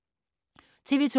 TV 2